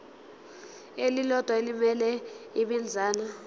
elilodwa elimele ibinzana